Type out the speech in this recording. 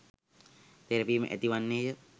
තෙරපීම ඇති වන්නේය.